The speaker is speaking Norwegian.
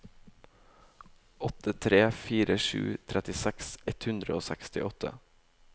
åtte tre fire sju trettiseks ett hundre og sekstiåtte